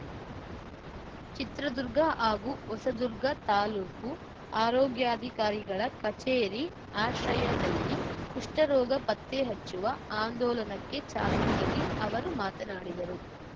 ಚಿತ್ರದುರ್ಗ ಹಾಗೂ ಹೊಸದುರ್ಗ ತಾಲೂಕು ಆರೋಗ್ಯಾಧಿಕಾರಿಗಳ ಕಚೇರಿ ಆಶ್ರಯದಲ್ಲಿ ಕುಷ್ಠರೋಗ ಪತ್ತೆ ಹಚ್ಚುವ ಆಂದೋಲನಕ್ಕೆ ಚಾಲನೆ ನೀಡಿ ಅವರು ಮಾತನಾಡಿದರು